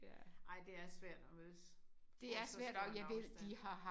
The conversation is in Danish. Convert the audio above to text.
Ej det er svært at mødes på så stor en afstand